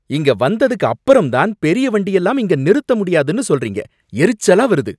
இங்க வந்ததுக்கு அப்பறம்தான் பெரிய வண்டியெல்லாம் இங்க நிறுத்தமுடியாதுன்னு சொல்றீங்க, எரிச்சலா வருது.